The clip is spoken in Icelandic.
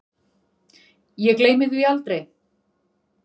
Ég gleymi því aldrei.